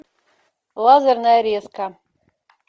лазерная резка